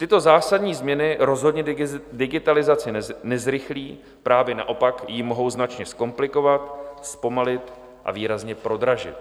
Tyto zásadní změny rozhodně digitalizaci nezrychlí, právě naopak ji mohou značně zkomplikovat, zpomalit a výrazně prodražit.